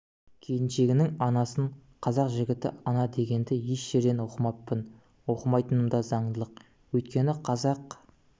келіншегінің анасын қазақ жігіті ана деген дегенді еш жерден оқымаппын оқымайтыным да заңдылық өйткені қазақ